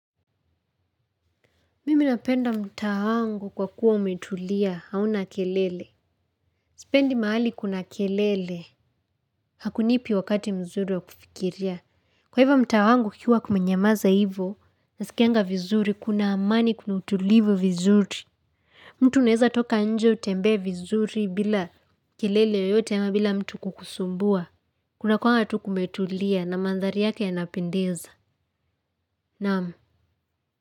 Mimi napenda mtaa wangu kwa kuwa umetulia, hauna kelele. Sipendi mahali kuna kelele, hakunipi wakati mzuri wa kufikiria. Kwa hivyo mtaa wangu kukiwa kumenyamaza hivyo, nasikianga vizuri, kuna amani kuna utulivu vizuri. Mtu uneza toka nje utembe vizuri bila kelele yoyote ama bila mtu kukusumbua. Kuna kuanga tu kumetulia na mandhari yake yanapendeza. Nam.